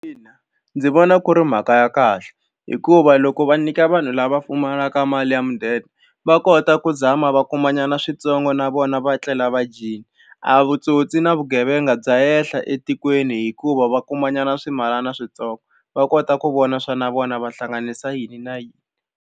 Ina ndzi vona ku ri mhaka ya kahle hikuva loko va nyika vanhu lava pfumalaka mali ya mudende va kota ku zama va kumanyana switsongo na vona va tlela va dyile a vutsotsi na vugevenga bya henhla etikweni hikuva va kumanyana swimalana switsongo va kota ku vona swa na vona va hlanganisa yini na yini.